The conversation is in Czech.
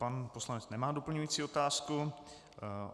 Pan poslanec nemá doplňující otázku.